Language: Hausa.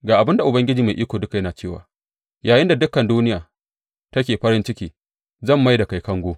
Ga abin da Ubangiji Mai Iko Duka yana cewa yayinda dukan duniya take farin ciki, zan mai da kai kango.